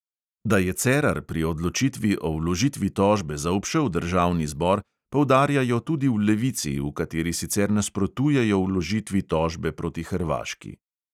Da je cerar pri odločitvi o vložitvi tožbe zaobšel državni zbor, poudarjajo tudi v levici, v kateri sicer nasprotujejo vložitvi tožbe proti hrvaški.